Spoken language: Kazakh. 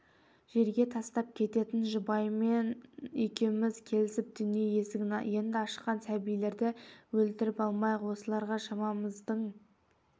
жерге тастап кететін жұбайым екеуміз келісіп дүние есігін енді ашқан сәбилерді өлтіріп алмайық осыларға шамамыздың